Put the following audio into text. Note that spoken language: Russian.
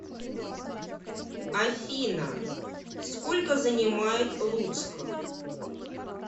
афина сколько занимает луцк